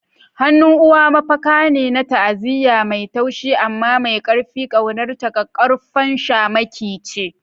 Hannun uwa mafaka ne na ta'aziyya, mai taushi amma mai ƙarfi, ƙaunarta ƙaƙƙarfan shamaki ce.